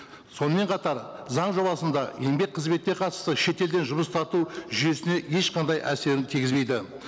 сонымен қатар заң жобасында еңбек қызметке қатысты шетелден жұмыс тарту жүйесіне ешқандай әсерін тигізбейді